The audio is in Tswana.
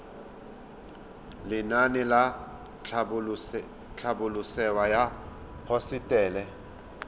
lenaane la tlhabololosewa ya hosetele